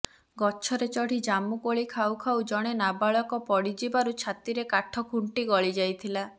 ଗଛରେ ଚଢ଼ି ଜାମୁକୋଳି ଖାଉଖାଉ ଜଣେ ନାବାଳକ ପଡ଼ିଯିବାରୁ ଛାତିରେ କାଠ ଖୁଣ୍ଟି ଗଳିଯାଇଥିଲା